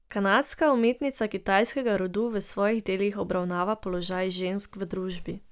Kanadska umetnica kitajskega rodu v svojih delih obravnava položaj žensk v družbi.